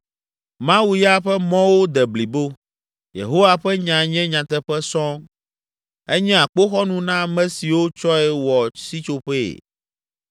“Mawu ya ƒe mɔwo de blibo, Yehowa ƒe nya nye nyateƒe sɔŋ. Enye akpoxɔnu na ame siwo tsɔe wɔ sitsoƒee.